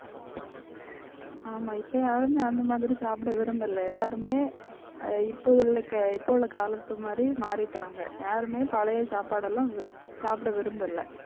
ஆமா இப்ப யாருமே அந்த மாதிரி சாப்பிட விரும்பல எல்லாருமே அஹ் இப்போதுள்ள கே~ இப்போ உள்ள காலத்து மாதிரி மாறிட்டாங்க. யாருமே பழைய சாப்பாடெல்லாம் வி~ சாப்பிட விரும்பலை.